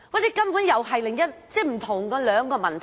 這根本是另一個問題，涉及兩個問題。